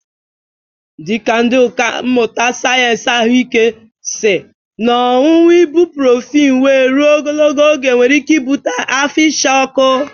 Ndị ọkà mmụta sayensị ahụike si na ọñụñụ ibụprofin wee rụo ogologo oge nwere ike ịbụte afọ ịcha ọkụ